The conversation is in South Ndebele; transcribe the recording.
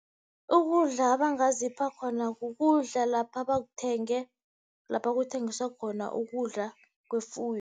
Ukudla abangazipha khona kukudla lapha abakuthenge lapha kuthengiswa khona ukudla kwefuyo.